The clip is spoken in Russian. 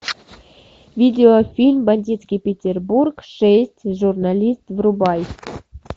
видео фильм бандитский петербург шесть журналист врубай